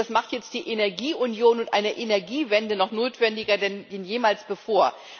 Das macht jetzt die Energieunion und eine Energiewende noch notwendiger als jemals zuvor.